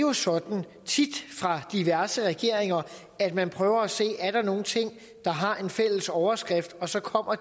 er sådan i diverse regeringer at man prøver at se er nogle ting der har en fælles overskrift og så kommer